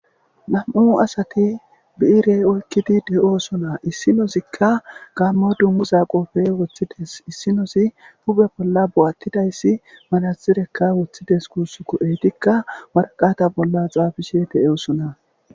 Namu'u assati bi're oyikide deyosona issi asika gammo dunguza qobe wothidesi isinozi huphe bolla boatidayis manaxire wothidesi gusuko etika wariqata bolla xafishe deyosona